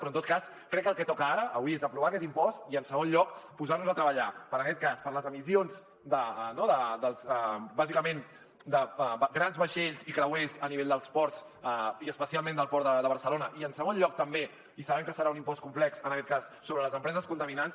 però en tot cas crec que el que toca ara avui és aprovar aquest impost i en segon lloc posar nos a treballar per les emissions bàsicament de grans vaixells i creuers a nivell dels ports i especialment del port de barcelona i en segon lloc també i sabem que serà un impost complex sobre les empreses contaminants